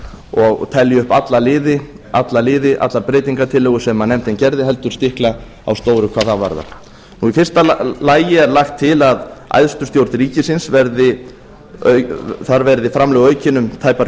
og telja upp alla liði allar breytingartillögur sem nefndin gerði heldur stikla á stóru hvað það varðar í fyrsta lagi er lagt til um æðstu stjórn ríkisins að þar verði framlög aukin um tæpar